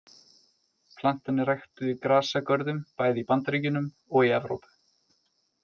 Plantan er ræktuð í grasagörðum bæði í Bandaríkjunum og í Evrópu.